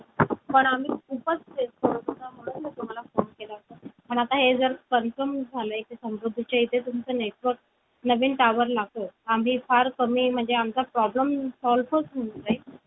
आम्ही खूपच face करत होतो म्हणून मी तुम्हाला फोन केला होता पण आता हे जर confirm झालंय समृद्धीच्या इथे तुमचं network नवीन tower लागेल आम्ही फार कमी आमचा problem solve च होऊन जाईल